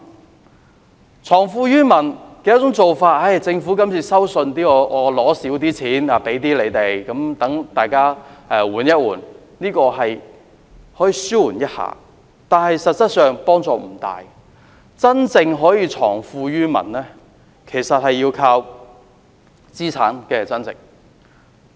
而政府藏富於民的其中一種做法，便是今次稅收收少一些，給市民一些寬免，讓大家歇一歇，這可以紓緩市民一點負擔，但實質幫助不大，真正可以藏富於民的做法，其實要靠資產增值。